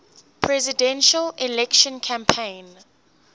presidential election campaign